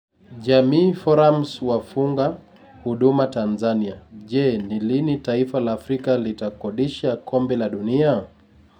Jamii Forums wafunga huduma Tanzania Je, ni lini taifa la Afrika litakodisha Kombe la Dunia?